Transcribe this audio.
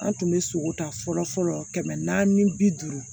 An tun bɛ sogo ta fɔlɔ fɔlɔ kɛmɛ naani bi duuru